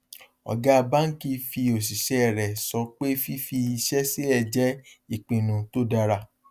ọgá báńkì fi òṣìsẹ rẹ sọ pé fífi iṣẹ sílẹ jẹ ipinnu tó dára